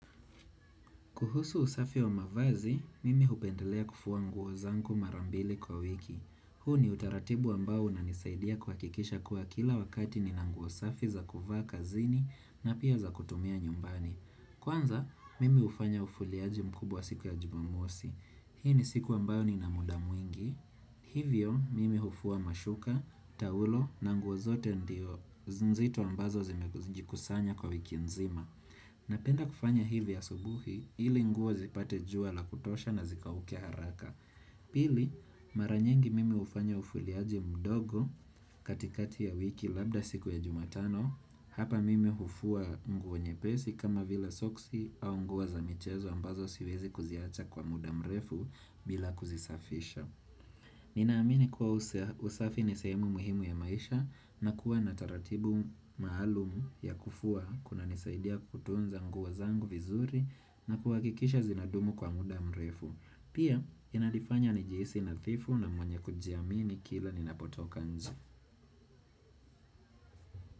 Kuhusu usafi wa mavazi, mimi hupendelea kufuwa nguo zanku marambile kwa wiki. Huu ni utaratibu ambao unanisaidia kwakikisha kuwa kila wakati ninanguosafi za kuvaa kazini na pia za kutumia nyumbani. Kwanza, mimi ufanya ufuliaji mkubwa siku ya jumamosi. Hii ni siku ambao ni na muda muingi. Hivyo, mimi ufua mashuka, taulo na nguozote ndio. Zinzito ambazo zimejikusanya kwa wiki nzima. Na penda kufanya hivi ya asubuhi ili nguwo zipate jua la kutosha na zikaukea haraka Pili maranyingi mimi hufanya ufuliaje mdogo katikati ya wiki labda siku ya jumatano Hapa mimi hufua nguwo nyepesi kama vila soksi au nguwa za mchezo ambazo siwezi kuziacha kwa mudamrefu bila kuzisafisha Nina amini kuwa usafi nisahemu muhimu ya maisha na kuwa nataratibu maalumu ya kufua kuna nisaidia kutunza nguwa zangu vizuri na kuwa kikisha zinadumu kwa muda mrefu. Pia inalifanya njiisi nathifu na mwenye kujiamini kila ninapotoka nji.